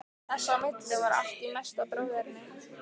Þess á milli var allt í mesta bróðerni.